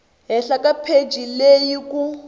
henhla ka pheji leyi ku